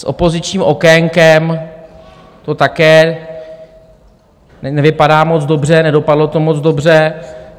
S opozičním okénkem to také nevypadá moc dobře, nedopadlo to moc dobře.